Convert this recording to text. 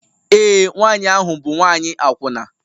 Ee, nwanyị ahụ bụ nwanyị akwụna